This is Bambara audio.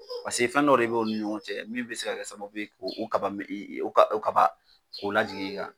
Paseke fɛn dɔ de b'olu ni ɲɔgɔn cɛ min be se ka kɛ sababu k'o kaba me e e o ka k'o lajigi e kan